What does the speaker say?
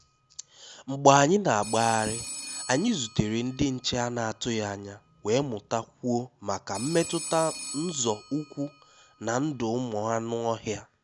Mgbé ànyị́ ná-àgáhárí, ànyị́ zútèré ndí nché à nà-àtụghí ányá, wéé mụ́tá kwúó máká mmétụ́tá nzọ́ ụ́kwụ́ ná ndụ́ ụ́mụ́ ànụ́-ọ́hịá.